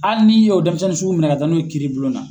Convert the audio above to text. Hali n'i y'o dɛnmisɛnnin sugu minɛ ka taa n'o ye kiiribulon na